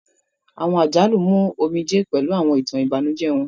Awọn àjálù mú omijé pẹlu awọn itan ibanujẹ wọn.